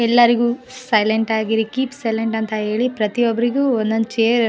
ಎಲ್ಲರಿಗೂ ಸೈಲೆಂಟ್ ಆಗಿರಿ keep silent ಅಂತ ಹೇಳಿ ಪ್ರತಿಯೊಬ್ಬರಿಗೂ ಒಂದೊಂದು ಚೆರ್‌ --